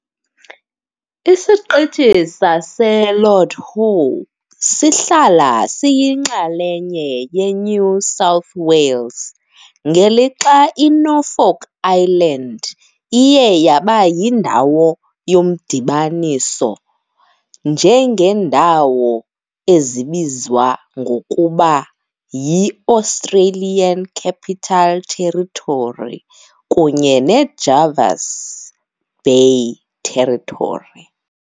ISiqithi saseLord Howe sihlala siyinxalenye yeNew South Wales, ngelixa iNorfolk Island iye yaba yindawo yomdibaniso, njengeendawo ezibizwa ngokuba yi-Australian Capital Territory kunye neJervis Bay Territory.